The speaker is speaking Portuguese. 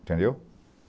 Entendeu?